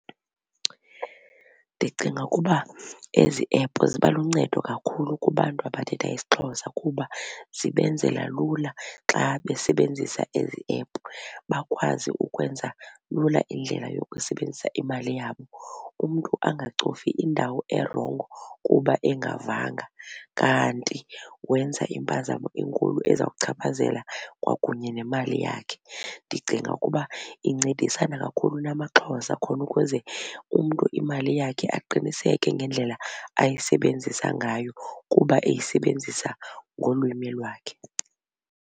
Ndicinga ukuba ezi app ziba luncedo kakhulu kubantu abathetha isiXhosa kuba zibenzela lula xa besebenzisa ezi app bakwazi ukwenza lula indlela yokusebenzisa imali yabo. umntu angacofi indawo erongo kuba engavanga kanti wenza impazamo enkulu ezawuchaphazela kwakunye nemali yakhe. Ndicinga ukuba incedisana kakhulu namaXhosa khona ukuze umntu imali yakhe aqiniseke ngendlela ayisebenzisa ngayo kuba eyisebenzisa ngolwimi lwakhe.